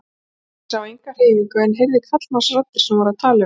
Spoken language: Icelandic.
Ég sá enga hreyfingu en heyrði karlmannsraddir sem voru að tala um mig.